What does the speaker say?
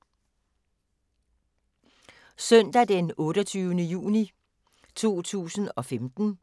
Søndag d. 28. juni 2015